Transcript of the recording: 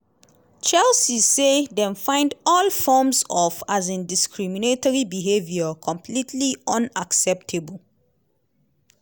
chelsea say dem find "all forms of um discriminatory behaviour completely unacceptable".